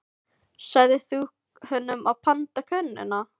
Sagðir þú honum að panta konuna?